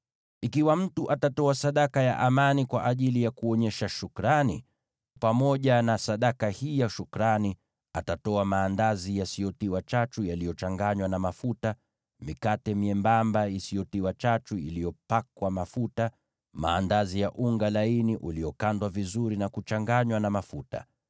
“ ‘Ikiwa mtu atatoa sadaka ya amani kwa ajili ya kuonyesha shukrani, pamoja na sadaka hii ya shukrani, atatoa maandazi yasiyotiwa chachu yaliyochanganywa na mafuta, mikate myembamba isiyotiwa chachu iliyopakwa mafuta, maandazi ya unga laini uliokandwa vizuri na kuchanganywa na mafuta.